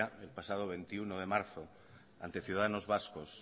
el pasado veintiuno de marzo ante ciudadanos vascos